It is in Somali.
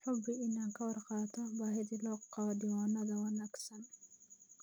Hubi inaad ka warqabto baahida loo qabo diiwaanada wanaagsan.